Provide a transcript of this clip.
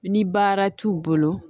Ni baara t'u bolo